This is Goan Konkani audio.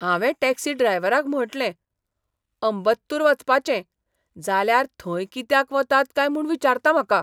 हावें टॅक्सी ड्रायव्हराक म्हटलें, अंबत्तूर वचपाचें, जाल्यार थंय कित्याक वतात काय म्हूण विचारता म्हाका!